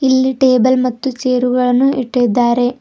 ಇಲ್ಲಿ ಟೇಬಲ್ ಮತ್ತು ಚೇರುಗಳನ್ನು ಇಟ್ಟಿದ್ದಾರೆ.